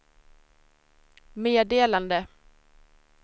meddelande